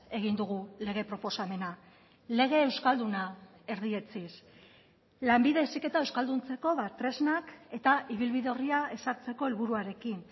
egin dugu lege proposamena lege euskalduna erdietsiz lanbide heziketa euskalduntzeko tresnak eta ibilbide orria ezartzeko helburuarekin